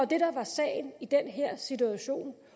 det der var sagen i den her situation